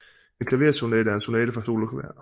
En klaversonate er en sonate for soloklaver